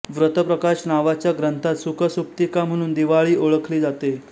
व्रतप्रकाश नावाच्या ग्रंथात सुख सुप्तिका म्हणून दिवाळी ओळखली जाते